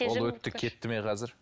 ол өтті кетті ме қазір